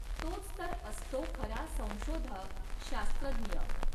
तोच तर असतो खरा संशोधक, शास्त्रज्ञ